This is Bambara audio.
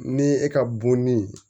Ni e ka bo nin